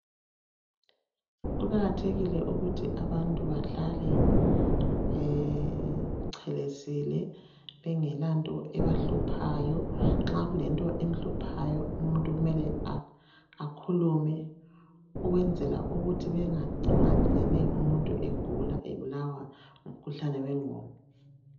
Kuqakathekile ukuthi abantu bahlale becelesile bengelanto ebahluphayo nxa kulento emhluphayo umuntu akhulume ukwenzela ukuthi kungacini umuntu egula ebulawa ngumkhuhlane wenqondo